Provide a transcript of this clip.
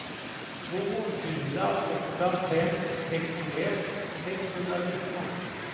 två fyra åtta fem sextioett sexhundranitton